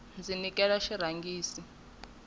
ndzi nekile xirhangisi xinga omi